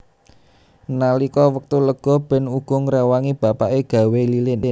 Nalika wektu lega Ben uga ngrewangi bapake gawé lilin